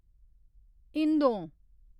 हिंदों